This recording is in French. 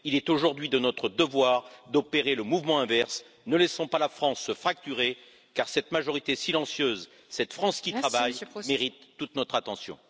Il est aujourd'hui de notre devoir d'opérer le mouvement inverse ne laissons pas la France se fracturer car cette majorité silencieuse, cette France qui travaille mérite toute notre attention.